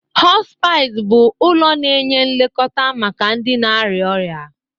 Hospice bụ ụlọ na-enye nlekọta maka ndị na-arịa ọrịa